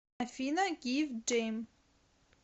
афина гив дем